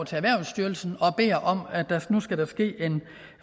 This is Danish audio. til erhvervsstyrelsen og beder om at der nu skal ske en